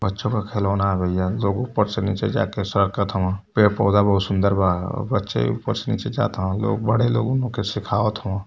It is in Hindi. बच्चों का खिलौना भईया जो ऊपर से नीचे जाके सरकत हव। पेड़-पौधे बहुत सुन्दर बा ऊपर से नीचे जात ह लोग बड़े लोगन के सिखावत हवन।